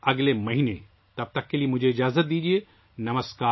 اگلے مہینے ملتے ہیں، تب تک کے لیے مجھے وداع دیجیے